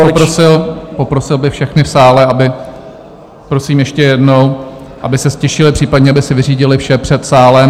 Já bych poprosil, poprosil bych všechny v sále, aby... prosím ještě jednou, aby se ztišili, případně aby si vyřídili vše před sálem.